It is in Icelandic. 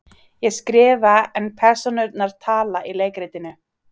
Ég skrifa en persónurnar tala í leikritinu.